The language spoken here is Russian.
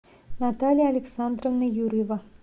наталья александровна юрьева